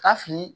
Ka fili